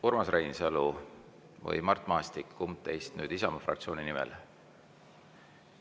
Urmas Reinsalu või Mart Maastik, kumb teist nüüd Isamaa fraktsiooni nimel?